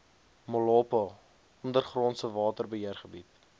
molopo ondergrondse waterbeheergebied